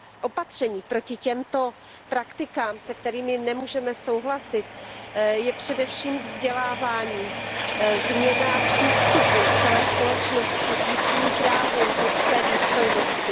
Opatřením proti těmto praktikám, se kterými nemůžeme souhlasit, je především vzdělávání, změna přístupu celé společnosti k lidským právům, k lidské důstojnosti.